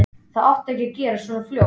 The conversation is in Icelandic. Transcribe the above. Það átti ekki að gerast svona fljótt.